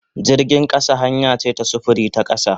Jirgin kasa hanya ce ta sufuri ta kasa.